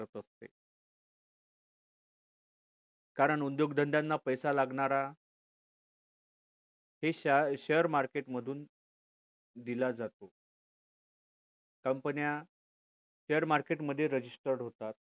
कारण उद्योगधंद्यांना पैसा लागणार हे share share market मधून दिला जातो company या share market मध्ये registered होतात